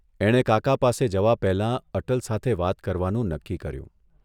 એણે કાકા પાસે જવા પહેલા અટલ સાથે વાત કરવાનું નક્કી કર્યું.